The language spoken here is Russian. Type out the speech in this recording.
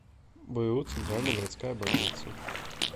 бу центральная городская больница